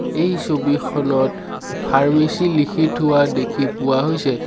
এই ছবিখনত ফাৰ্মেচী লিখি থোৱা দেখি পোৱা হৈছে।